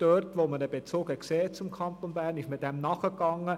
Dort, wo sie einen Bezug zum Kanton Bern sah, ging sie dem nach.